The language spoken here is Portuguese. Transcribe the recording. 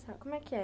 Como é que é?